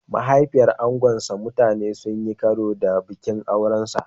Mahaifiyar angonsa mutane sun yi karo da bikin aurensa.